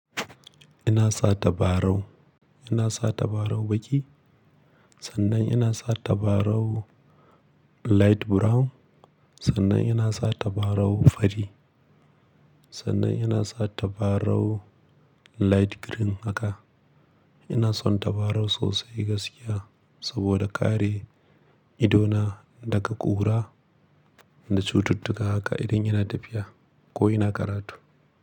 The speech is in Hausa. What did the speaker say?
Ina sa tabarau, ina sa tabarau baki, sannan ina sa tabarau light brown, sannan ina sa tabarau fari, sannan ina sa tabarau light green haka. Ina son tabarau sosai gaskiya saboda kare idona daga ƙura da cututtuka haka idan ina tafiya ko ina karatu.